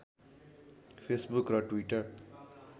Facebook र Twitter